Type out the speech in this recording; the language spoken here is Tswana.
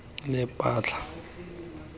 lephatla